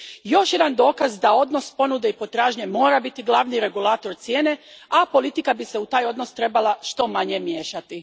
Još jedan dokaz da odnos ponude i potražnje mora biti glavni regulator cijene, a politika bi se u taj odnos trebala što manje miješati.